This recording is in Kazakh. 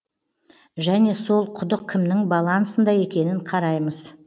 және сол құдық кімнің балансында екенін қараймыз